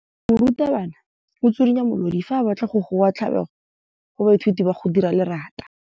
Morutwabana o tswirinya molodi fa a batla go goa tlabego go baithuti ba go dira lerata.